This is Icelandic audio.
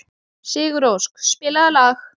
Sigurósk, spilaðu lag.